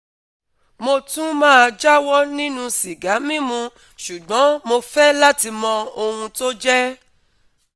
mo tún máa jáwọ́ nínú sìgá mímu ṣùgbọ́n mo fẹ́ láti mọ ohun tó jẹ́